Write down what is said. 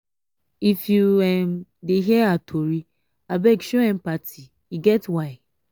i no fit make your trouble go pata pata but i go stand with you